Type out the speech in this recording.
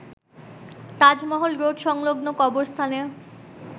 Taj Mahal road সংলগ্ন কবরস্থানে